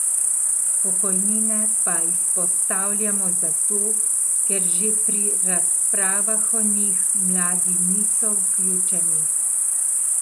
Pokojnine pa izpostavljamo zato, ker že pri razpravah o njih mladi niso vključeni.